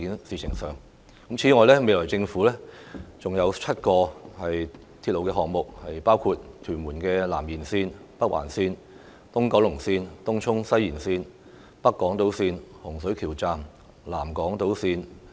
此外，規劃中的鐵路項目尚有7個，包括屯門南延綫、北環綫、東九龍綫、東涌西延綫、北港島綫、洪水橋站、南港島綫。